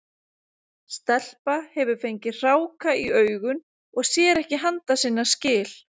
Stelpa hefur fengið hráka í augun og sér ekki handa sinna skil.